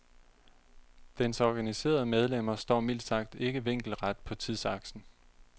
Dens organiserede medlemmer står mildt sagt ikke vinkelret på tidsaksen.